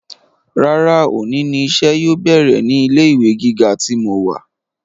Rárá òní ni iṣẹ́ yóò bẹ̀rẹ̀ ní ilé ìwé gíga tí mo wà